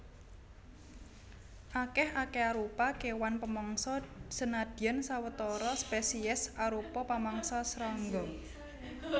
Akèh akéarupa kéwan pamangsa senadyan sawetara spesiés arupa pamangsa srangga